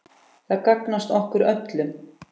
Það gagnast okkur öllum.